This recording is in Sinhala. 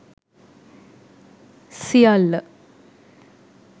siyalla